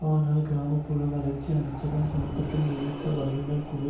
ஆனால் கிராம புற வளர்ச்சி அமைச்சகம் சமீபத்தில் நியமித்த வல்லுனர் குழு